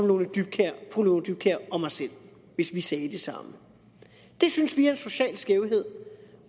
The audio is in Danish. lone dybkjær og mig selv hvis vi sagde det samme det synes vi er en social skævhed